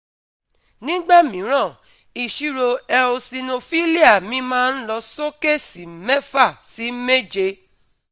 Nígbà mìíràn, ìṣirò eosinophilia mi máa ń lọ sókè sí mẹ́fà sí méje